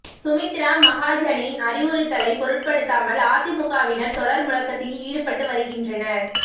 சுமித்ரா மகாஜனின் அறிவுறுத்தலை பொருட்படுத்தாமல் அதிமுகவினர் தொடர் முழக்கத்தில் ஈடுப்பட்டு வருகின்றனர்